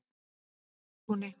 Fossatúni